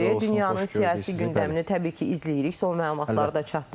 Dünyanın siyasi gündəmini təbii ki, izləyirik, son məlumatları da çatdırırıq.